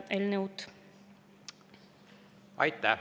Aitäh!